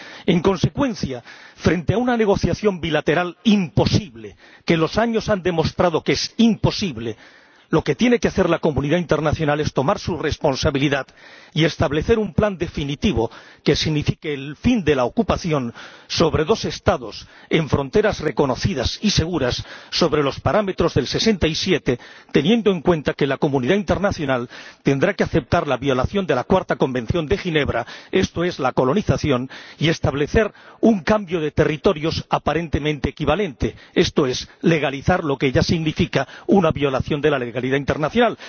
En consecuencia, frente a una negociación bilateral imposible, que los años han demostrado que es imposible, lo que tiene que hacer la comunidad internacional es tomar su responsabilidad y establecer un plan definitivo sobre dos Estados que signifique el fin de la ocupación, con fronteras reconocidas y seguras, sobre los parámetros del 67, teniendo en cuenta que la comunidad internacional tendrá que aceptar la violación de la Cuarta Convención de Ginebra, esto es, la colonización, y establecer un cambio de territorios aparentemente equivalente, esto es, legalizar lo que ya significa una violación de la legalidad internacional.